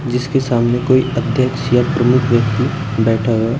जिसके सामने कोई अध्यक्ष या प्रमुख व्यक्ति बैठा हुआ है।